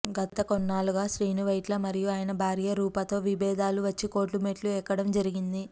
గత కొన్నాళ్ళుగా శ్రీనువైట్ల మరియు అయన భార్య రూపా తో విభేదాలు వచ్చి కోర్టు మెట్లు ఎక్కడం జరిగింది